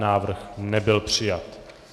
Návrh nebyl přijat.